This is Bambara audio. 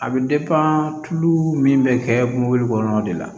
A bɛ tulu min bɛ kɛ mobili kɔnɔ de la